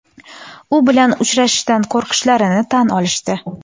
u bilan uchrashishdan qo‘rqishlarini tan olishdi.